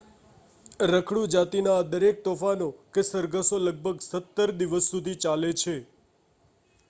રખડુ જાતિના આ દરેક તોફાનો કે સરઘસો લગભગ 17 દિવસ સુધી ચાલે છે